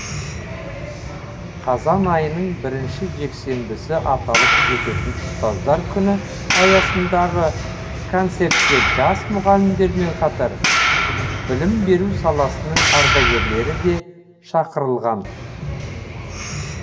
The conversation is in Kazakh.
қазан айының бірінші жексенбісі аталып өтетін ұстаздар күні аясындағы концертке жас мұғалімдермен қатар білім беру саласының ардагерлері де шақырылған